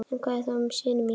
En hvað þá um syni mína?